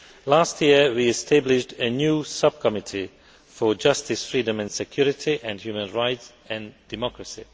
Last year, we established a new Subcommittee on Justice, Freedom, Security and Human Rights and Democracy.